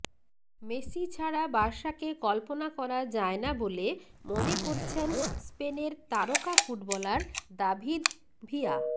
Messi ছাড়া বার্সাকে কল্পনা করা যায় না বলে মনে করছেন স্পেনের তারকা ফুটবলার দাভিদ ভিয়া